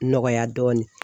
Nɔgɔya dɔɔnin.